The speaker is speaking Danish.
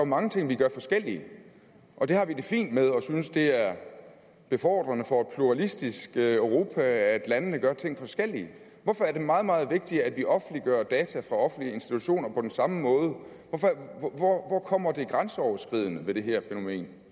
mange ting vi gør forskelligt og det har vi det fint med og synes det er befordrende for et pluralistisk europa at landene gør ting forskelligt hvorfor er det meget meget vigtigt at vi offentliggør data for offentlige institutioner på den samme måde hvor kommer det grænseoverskridende ved det her fænomen